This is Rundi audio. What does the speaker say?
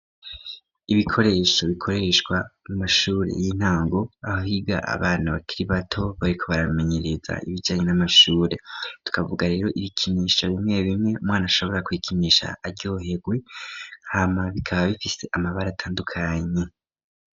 Ibikoresho bikoreshwa mu mashure y'intango, ahiga abana bakiri bato, bariko baramenyereza ibijanye n'amashure. Tukavuga rero ibikinisha bimwe bimwe umwana ashobora kwikinisha aryoherwe, hama bikaba bifise amabara atandukanye.